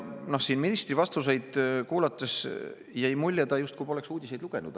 Siin ministri vastuseid kuulates jäi mulje, et ta justkui poleks uudiseid lugenud.